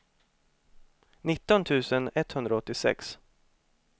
nitton tusen etthundraåttiosex